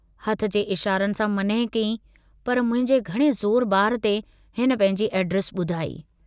हथ जे इशारनि सां मनह कई पर मुंहिंजे घणे ज़ोर बार ते हिन पंहिंजी ऐड्रेस बुधाई।